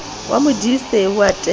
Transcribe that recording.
wa modise o a tella